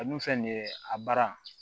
A dun filɛ nin ye a baara